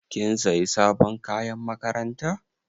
Kin sayi sabon kayan makaranta?